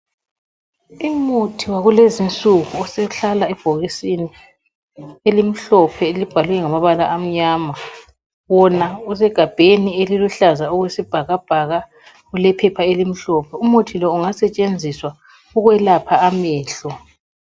Umuthi wakulezi insuku usuhlala ibhokisi elimhlophe elibhalwe ngamabala amnyama wona usegabheni eliluhlaza okwesibhakabhaka ulephepha elimhlophe umuthi lo ungasetshenziswa ukwelapha amehlo.